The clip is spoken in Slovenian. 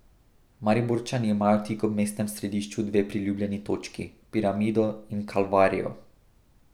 Mariborčani imajo tik ob mestnem središču dve priljubljeni točki, Piramido in Kalvarijo.